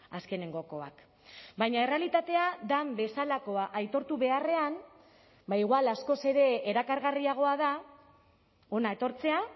azkenengokoak baina errealitatea den bezalakoa aitortu beharrean ba igual askoz ere erakargarriagoa da hona etortzea